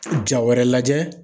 Ja wɛrɛ lajɛ